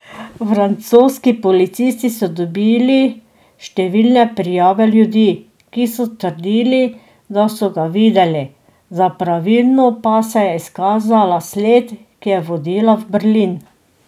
Francoski policisti so dobili številne prijave ljudi, ki so trdili, da so ga videli, za pravilno pa se je izkazala sled, ki je vodila v Berlin.